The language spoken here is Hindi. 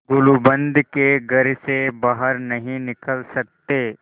गुलूबंद के घर से बाहर नहीं निकल सकते